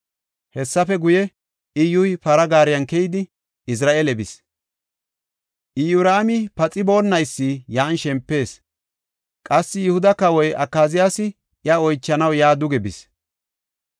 Hessafe guye, Iyyuy para gaariyan keyidi, Izra7eele bis. Iyoraami paxiboonnaysi yan shempees. Qassi Yihuda kawoy Akaziyaasi iya oychanaw yaa duge bis.